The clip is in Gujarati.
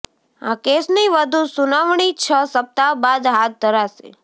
આ કેસની વધુ સુનાવણી છ સપ્તાહ બાદ હાથ ધરાશે